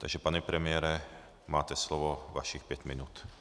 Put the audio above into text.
Takže pane premiére, máte slovo, vašich pět minut.